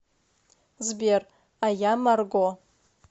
сбер а я марго